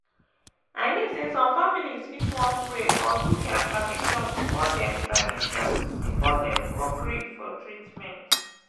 i mean say some families fit wan pray or do their tradition before dem tradition before dem go gree for treatment.